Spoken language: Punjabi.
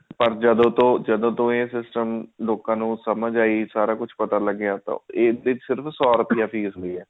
ਪਰ ਜਦੋਂ ਤੋਂ ਜਦੋਂ ਤੋਂ ਇਹ system ਲੋਕਾਂ ਨੂੰ ਸਮਝ ਆ ਸਾਰਾ ਕੁਝ ਪਤਾ ਲੱਗਿਆ ਤਾਂ ਇਹਦੀ ਸਿਰਫ ਸੋ ਰੁਪਿਆ fees ਹੈ